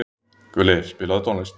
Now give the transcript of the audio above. Gulli, spilaðu tónlist.